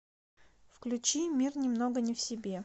включи мир немного не в себе